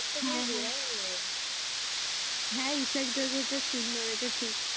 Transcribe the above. হ্যাঁ হ্যাঁ হ্যাঁ ইসেক দাদা টা সুন্দর এটা ঠিক।